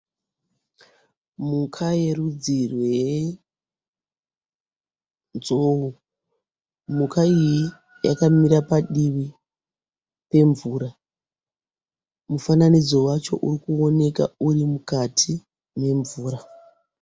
Mhuka yerudzi rwenzou, mhuka iyi yakamira padivi pemvura mufananidzo wacho uri kuoneka uri mukati memvura.